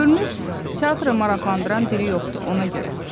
Görünür, teatrı maraqlandıran diri yoxdur, ona görə.